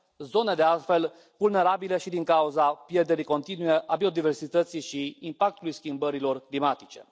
zone de altfel vulnerabile și din cauza pierderii continue a biodiversității și impactului schimbărilor climatice.